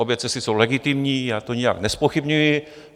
Obě cesty jsou legitimní, to já nijak nezpochybňuji.